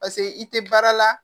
Paseke i tɛ baara la